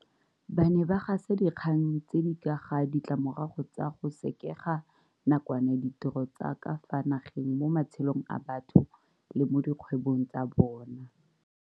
Ba ne ba gasa dinkgang tse di ka ga ditlamorago tsa go sekega nakwana ditiro tsa ka fa nageng mo matshelong a batho le mo dikgwebong tsa bona.